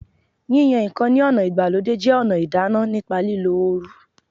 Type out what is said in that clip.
Yíyan ǹkan ní ọ̀nà ìgbàlódé jẹ́ ọ̀nà ìdáná nípa lílo oru